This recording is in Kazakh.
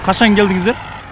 қашан келдіңіздер